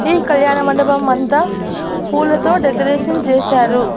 ఈ కళ్యాణ మండపమంతా పూలతో డెకరేషన్ చేశారు.